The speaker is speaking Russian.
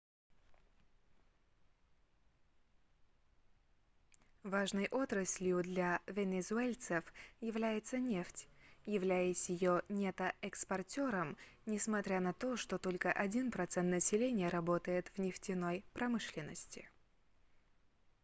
важной отраслью для венесуэльцев является нефть являясь её нетто-экспортером несмотря на то что только один процент населения работает в нефтяной промышленности